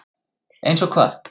Einsog hvað?